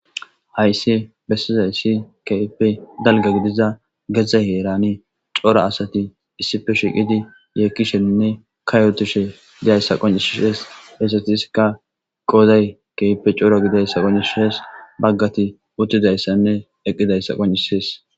Hayssi bessizayssi kehippe dalgga giddiza geeze heeran coora asati issippe shiqqidi yekkishenne kaayotishe diizayssa qonccises hessatasika qooday kehippe coora giddidayssa qonccises baggati uttidayssanne eqqidayssa qonccises.